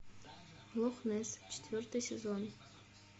лох несс четвертый сезон